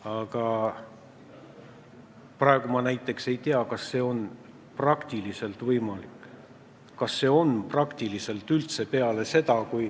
Aga praegu ma näiteks ei tea, kas see on praktikas üldse võimalik.